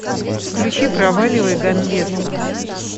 включи проваливай ганвеста